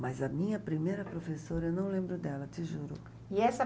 Mas a minha primeira professora, eu não lembro dela, te juro. E essa